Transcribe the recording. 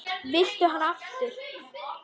Viltu hana aftur?